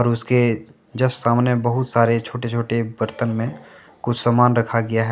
उसके जस्ट सामने बहुत सारे छोटे छोटे बर्तन में कुछ सामान रखा गया है।